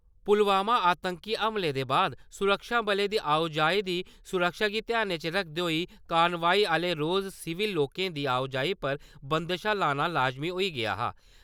पुलवामा आतंकी हमले दे बाद सुरक्षाबलें दी आओ जाई दी सुरक्षा गी ध्यानै च रक्खदे होई, कानवाई आह्ले रोज़ सिविल लोकें दी आओ जाई पर बंदशां लाना लाजमी होई गेआ हा।